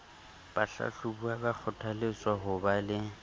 bahlahlobuwa ba kgothaletswa ho ba